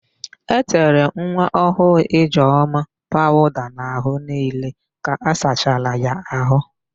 E tere nwaọhụụ Ijeọma pawụda n'àhụ́ niile ka a sachara ya àhụ́.